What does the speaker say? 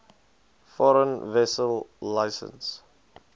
foreign vessel licence